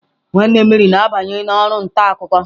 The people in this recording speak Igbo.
Nwanne Mary na-abanye na oru nta akuko.